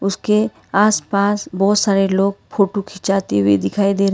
उसके आस पास बहुत सारे लोग फोटो खींचाते हुए दिखाई दे रहे--